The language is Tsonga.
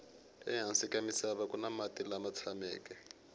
ehansi ka misava kuni mati lama tshameke